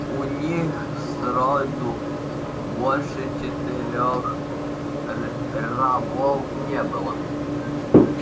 у них сроду больше четырёх рабов не было